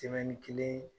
kelen